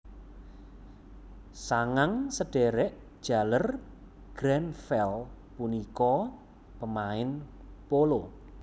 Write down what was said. Sangang sedhèrèk jaler Grenfell punika pemain polo